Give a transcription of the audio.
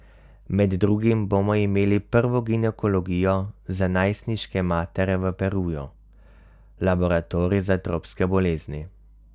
Med drugim bomo imeli prvo ginekologijo za najstniške matere v Peruju, laboratorij za tropske bolezni ...